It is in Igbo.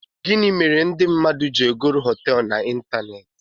Gini mere ndi mmadu ji egoro hotéélu na ịntanetị?